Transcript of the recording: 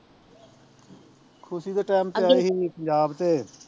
ਖੁਸੀ ਦੇ ਟੈਮ ਤੇ ਆਈ ਸੀ ਪੰਜਾਬ ਤੇ